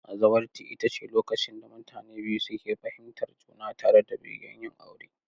Zawarci ita ce lokacin da mutane biyu suke fahimtar juna tare da begen yin aure.